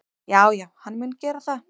Já já, hann mun gera það.